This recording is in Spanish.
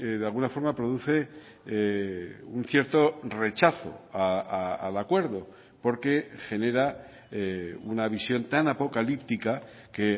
de alguna forma produce un cierto rechazo al acuerdo porque genera una visión tan apocalíptica que